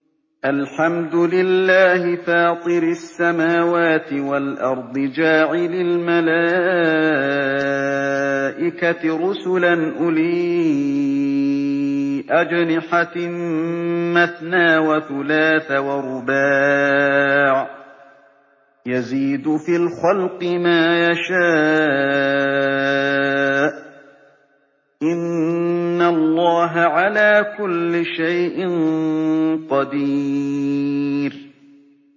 الْحَمْدُ لِلَّهِ فَاطِرِ السَّمَاوَاتِ وَالْأَرْضِ جَاعِلِ الْمَلَائِكَةِ رُسُلًا أُولِي أَجْنِحَةٍ مَّثْنَىٰ وَثُلَاثَ وَرُبَاعَ ۚ يَزِيدُ فِي الْخَلْقِ مَا يَشَاءُ ۚ إِنَّ اللَّهَ عَلَىٰ كُلِّ شَيْءٍ قَدِيرٌ